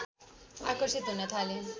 आकर्षित हुन थाले